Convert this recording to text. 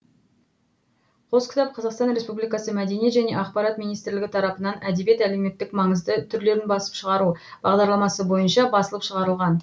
қос кітап қазақстан республикасы мәдениет және ақпарат министрлігі тарапынан әдебиет әлеуметтік маңызды түрлерін басып шығару бағдарламасы бойынша басылып шығарылған